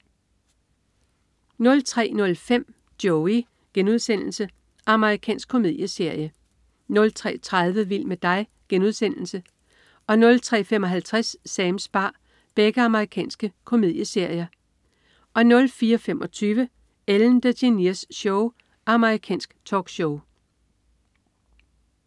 03.05 Joey.* Amerikansk komedieserie 03.30 Vild med dig.* Amerikansk komedieserie 03.55 Sams bar. Amerikansk komedieserie 04.25 Ellen DeGeneres Show. Amerikansk talkshow